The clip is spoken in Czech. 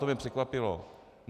To mě překvapilo.